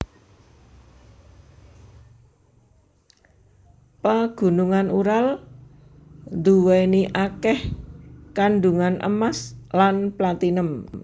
Pagunungan Ural nduweni akeh kandungan emas lan platinum